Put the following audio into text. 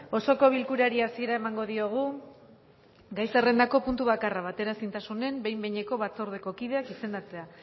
osoko bilkurari hasiera emango diogu gai zerrendako puntu bakarra bateraezintasunen behin behineko batzordeko kideak izendatzea